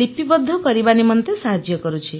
ଲିପିବଦ୍ଧ କରିବା ନିମନ୍ତେ ସାହାଯ୍ୟ କରୁଛି